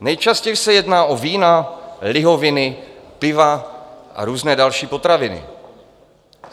Nejčastěji se jedná o vína, lihoviny, piva a různé další potraviny.